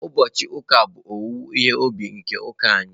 Ụbọchị ụka a bụ owuwe ihe ubi nke ụka anyị